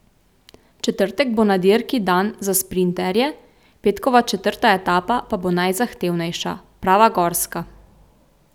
Četrtek bo na dirki dan za sprinterje, petkova četrta etapa pa bo najzahtevnejša, prava gorska.